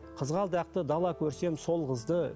қызғалдақты дала көрсем сол қызды